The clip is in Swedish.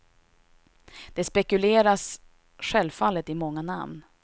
Det spekuleras självfallet i många namn.